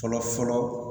Fɔlɔ fɔlɔ